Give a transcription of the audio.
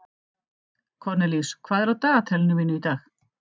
Kornelíus, hvað er á dagatalinu mínu í dag?